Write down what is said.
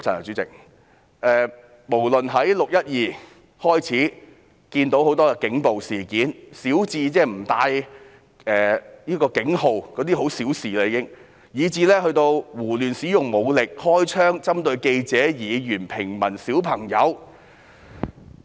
由"六一二"起，我們已經看到很多警暴事件，小至不展示警員編號——這已經是小事了——大至胡亂使用武力、開槍，以及針對記者、議員、平民和兒童。